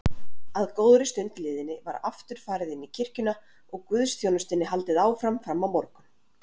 Að góðri stund liðinni var aftur farið inní kirkjuna og guðsþjónustunni haldið áfram frammá morgun.